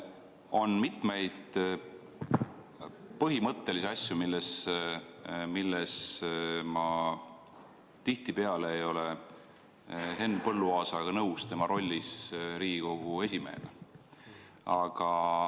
On mitmeid põhimõttelisi asju, milles ma tihtipeale ei ole nõus Henn Põlluaasaga tema rollis Riigikogu esimehena.